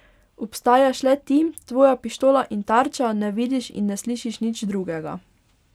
Obstajaš le ti, tvoja pištola in tarča, ne vidiš in ne slišiš nič drugega.